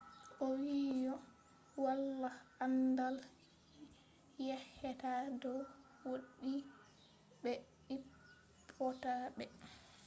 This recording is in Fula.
owiiyo walaa anndaal yeccheta dow woodi be hippota be